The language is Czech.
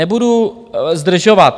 Nebudu zdržovat.